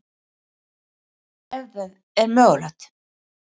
Ef það er mögulegt.